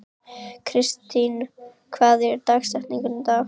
Kristine, hver er dagsetningin í dag?